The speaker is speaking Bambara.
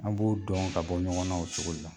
An b'o dɔn ka bɔ ɲɔgɔn na o cogo de la.